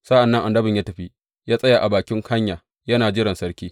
Sa’an nan annabin ya tafi ya tsaya a bakin hanya yana jiran sarki.